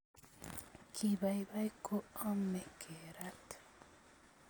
Kibaibai koomo kerat